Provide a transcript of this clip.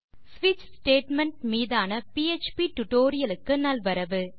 ஸ்விட்ச் ஸ்டேட்மெண்ட் மீதான பிஎச்பி டுடோரியலுக்கு நல்வரவு